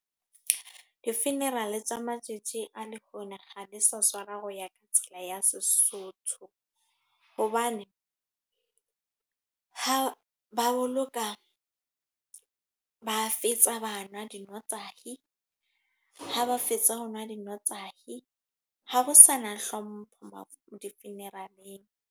Di-funeral tsa matsatsi a lekgone kga di sa tshwara ho ya ka tsela ya Sesotho. Hobane, ha ba boloka, ba fetsa bana nwa dinwatahi. Ha ba fetsa ho nwa dinwatahi. Ha ho sana hlompho di-funeral-eng.